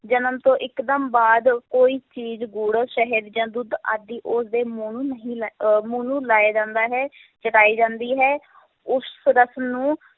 ਜਨਮ ਤੋਂ ਇੱਕਦਮ ਬਾਅਦ ਕੋਈ ਚੀਜ਼ ਗੁੜ, ਸ਼ਹਿਦ ਜਾਂ ਦੁੱਧ ਆਦਿ ਉਸਦੇ ਮੂੰਹ ਨੂੰ ਨਹੀਂ ਲਾ~ ਅਹ ਮੂੰਹ ਨੂੰ ਲਾਇਆ ਜਾਂਦਾ ਹੈ ਤੇ ਜਾਂਦੀ ਹੈ ਉਸ ਰਸਮ ਨੂੰ